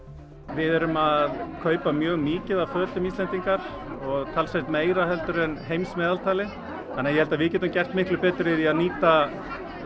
við erum að kaupa mjög mikið af fötum Íslendingar og talsvert meira heldur en heimsmeðaltalið þannig að ég held að við getum gert miklu betur í því að nýta